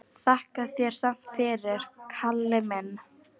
Þakka þér samt fyrir, Kalli minn.